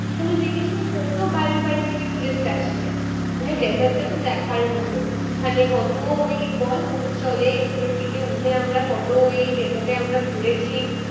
ওখানে দেখেছি কত বাইরে বাইরে থেকে tourist আসছে। ওখানে desert টাতো দেখার মতো, মানে কত ওই বল উট চলে। উটের পিঠে উঠে আমরা কত ওই desert এ আমরা ঘুরেছি।